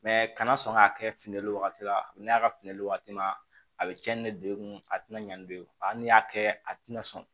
a kana sɔn k'a kɛ fin wagati la a bɛ ne a ka finli waati ma a bɛ cɛnin don i kun a tɛna ɲan ni don hali n'i y'a kɛ a tɛna sɔn